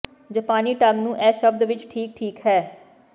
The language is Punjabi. ਜਪਾਨੀ ਢੰਗ ਨੂੰ ਇਹ ਸ਼ਬਦ ਵਿੱਚ ਠੀਕ ਠੀਕ ਹੈ